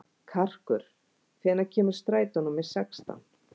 Karkur, hvenær kemur strætó númer sextán?